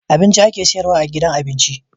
Abinci ake siyarwa a gidan abinci